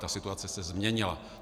Ta situace se změnila.